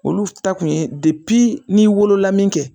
Olu ta kun ye ni wolola min kɛ.